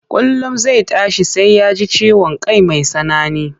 Kullum zai tashi sai ya ji ciwon kai mai tsanani,